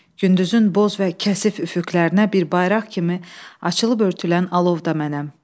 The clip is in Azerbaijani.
Gündüzün boz və kəsif üfüqlərinə bir bayraq kimi açılıb örtülən alov da mənəm.